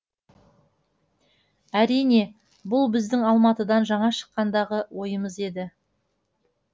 әрине бұл біздің алматыдан жаңа шыққандағы ойымыз еді